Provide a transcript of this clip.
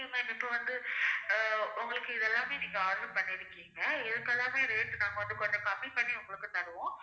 ma'am இப்ப வந்து அஹ் உங்களுக்கு இது எல்லாமே நீங்க order பண்ணி இருக்கீங்க இதுக்கு எல்லாமே நாங்க rate நாங்க வந்து கொஞ்சம் கம்மி பண்ணி உங்களுக்கு தருவோம்